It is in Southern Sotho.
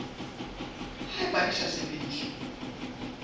ha eba di sa sebediswe